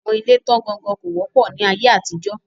Àwọn ilé tán ga gan kò wọ́pọ̀ ní aye àtijọ́.